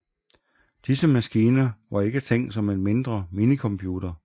Disse maskiner var ikke tænkt som en mindre minicomputer